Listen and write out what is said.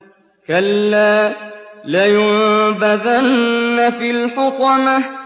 كَلَّا ۖ لَيُنبَذَنَّ فِي الْحُطَمَةِ